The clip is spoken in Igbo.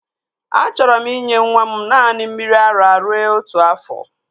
Achọrọ m inye nwa m naanị mmiri ara rue otu afọ